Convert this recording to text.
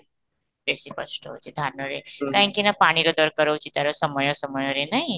ବେଶି କଷ୍ଟ ହେଉଛି ଧାନରେ କାହିଁକି ନା ପାଣିର ଦରକାର ହଉଛି ତା'ର ସମୟ ସମୟରେ ନାଇ